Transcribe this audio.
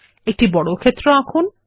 একটি বর্গক্ষেত্র আঁকুন